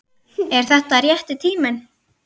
Er þetta rétti tíminn?